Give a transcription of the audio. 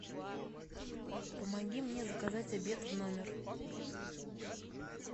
помоги мне заказать обед в номер